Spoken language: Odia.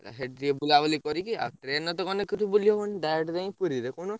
ସେଇଟି ଟିକେ ବୁଲାବୁଲି କରିକି ଆଉ train ରେ ତ ଗଲେ କିଛି ବୁଲି ହବନି direct ଯାଇଁ ପୁରୀ କହୁନ।